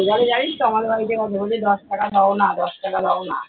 জানিস তো আমাদের বাড়িতেও আসে, বলে দশ টাকা দেয় না দশ টাকা দেয় নাহ।